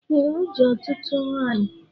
Ee, o ji ọtụtụ nwanyị